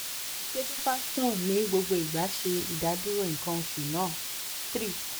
ṣe duphaston ni gbogbo igba ṣe idaduro nkan osu naa? three